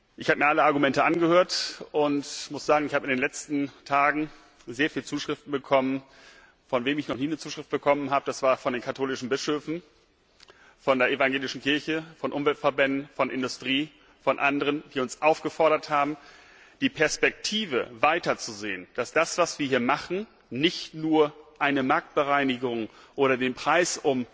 Ich habe mir alle Argumente angehört und muss sagen, ich habe in den letzten Tagen sehr viele Zuschriften bekommen von wem ich noch nie eine Zuschrift bekommen habe, das sind die katholischen Bischöfe von der evangelischen Kirche, von Umweltverbänden, von der Industrie, von anderen, die uns aufgefordert haben, die Perspektive weiter zu sehen, dass das, was wir hier machen, nicht nur eine Marktbereinigung ist oder der Preis